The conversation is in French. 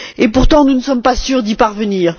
Et pourtant nous ne sommes pas sûrs d'y parvenir.